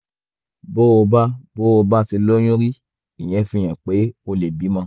bó o bá bó o bá ti lóyún rí ìyẹn fi hàn pé o lè bímọ